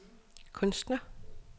kunstner